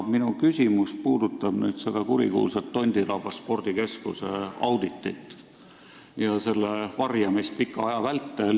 Minu küsimus puudutab seda kurikuulsat Tondiraba spordikeskuse auditit ja selle varjamist pika aja vältel.